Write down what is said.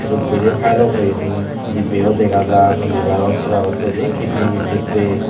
ubbadi filo boyoni dibbe yo dega jar liberor sibarotte de kidni vitnittey.